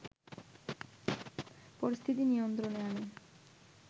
পরিস্থিতি নিয়ন্ত্রণে আনে